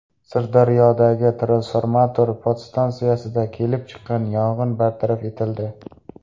Sirdaryodagi transformator podstansiyasida kelib chiqqan yong‘in bartaraf etildi.